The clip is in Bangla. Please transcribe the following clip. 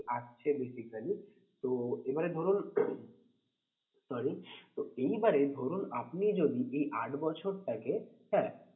আসছে basically তো এবারে ধরুন sorry এইবারে ধরুন আপনি যদি এই আট বছরটাকে